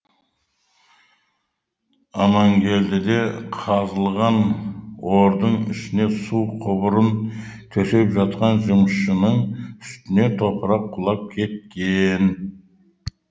аманкелдіде қазылған ордың ішіне су құбырын төсеп жатқан жұмысшының үстіне топырақ құлап кеткен